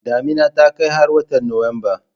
Damina ta kai har watan Nuwamba